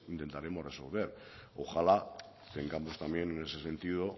intentaremos resolver ojalá tengamos también en ese sentido